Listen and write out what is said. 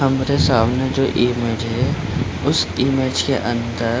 हमरे सामने जो इमेज है उस इमेज के अंदर --